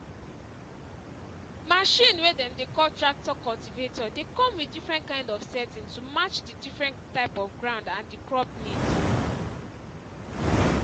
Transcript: machine way dem dey call tractor cultivator dey come with different kind of setting to match the different type of ground and the crop need.